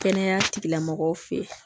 Kɛnɛya tigilamɔgɔw fɛ yen